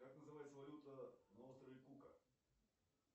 как называется валюта на острове кука